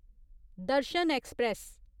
Darshan express